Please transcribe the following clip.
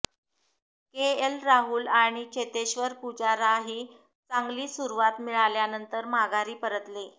KL Rahul आणि चेतेश्वर पुजाराही चांगली सुरुवात मिळाल्यानंतर माघारी परतले